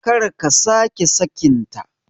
Karka sake sakin ta